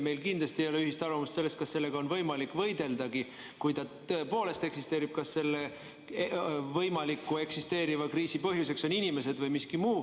Meil kindlasti ei ole ühist arvamust selles, kas sellega on võimalik võideldagi, kui ta tõepoolest eksisteerib, kas selle võimaliku eksisteeriva kriisi põhjuseks on inimesed või miski muu.